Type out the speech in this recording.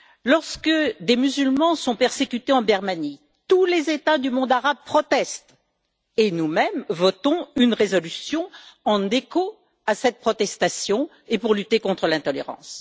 Lorsque des musulmans sont persécutés en Birmanie, tous les États du monde arabe protestent et nous mêmes votons une résolution en écho à cette protestation et pour lutter contre l'intolérance.